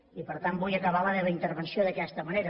i per tant vull acabar la meva intervenció d’aquesta manera